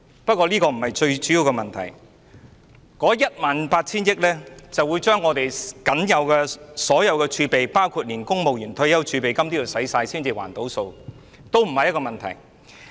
不過，這個不是最重要的問題，這項為數 18,000 億元的開支，勢將把香港所有儲備，包括公務員退休儲備金花光，才能"填數"，但這個也不是問題。